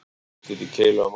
Úrslit í keilu á mánudaginn